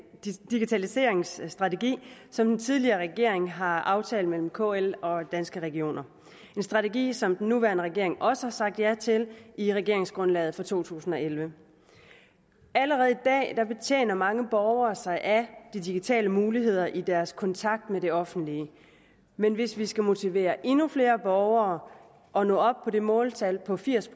digitaliseringsstrategi som den tidligere regering har aftalt med kl og danske regioner en strategi som den nuværende regering også har sagt ja til i regeringsgrundlaget for to tusind og elleve allerede i dag betjener mange borgere sig af de digitale muligheder i deres kontakt med det offentlige men hvis vi skal motivere endnu flere borgere og nå op på det måltal på firs